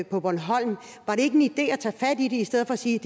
på bornholm var det ikke en idé at tage fat i det i stedet for at sige